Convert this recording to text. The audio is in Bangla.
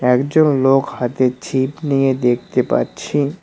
একজন লোক হাতে ছিপ নিয়ে দেখতে পাচ্ছি।